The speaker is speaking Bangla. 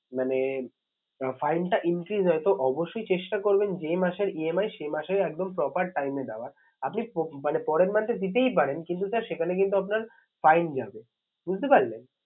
মানে fine টা increase হয় তো অবশ্যই চেষ্টা করবেন যে মাসের EMI সেই মাসে একদম proper time এ দেওয়ার। আপনি মানে পরের মাসে দিতেই পারেন কিন্তু sir সেখানে কিন্তু আপনার fine যাবে বুঝতে পারলেন?